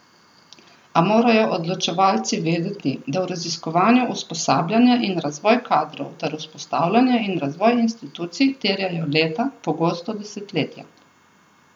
A morajo odločevalci vedeti, da v raziskovanju usposabljanje in razvoj kadrov ter vzpostavljanje in razvoj institucij terjajo leta, pogosto desetletja.